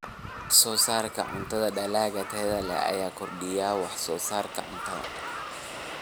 Wax-soo-saarka cuntada Dalagga tayada leh ayaa kordhiya wax-soo-saarka cuntada.